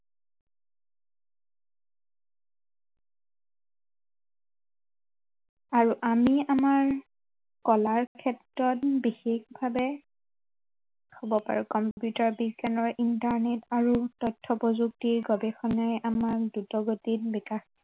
আৰু আমি আমাৰ কলাৰ ক্ষেত্ৰতো বিশেষভাৱে, হব পাৰে computer বিজ্ঞানৰ internet আৰু তথ্য় প্ৰযুক্তিৰ গৱেষণাই আমাক দ্ৰুত গতিত বিকাশ